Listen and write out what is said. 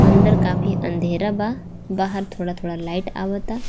अंदर काफी अंधेरा बा बाहर थोड़ा-थोड़ा लाइट आवता.